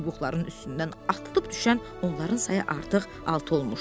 Çubuqların üstündən atılıb düşən onların sayı artıq altı olmuşdu.